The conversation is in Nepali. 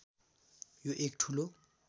यो एक ठूलो